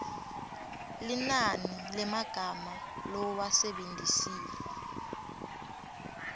linani lemagama lowasebentisile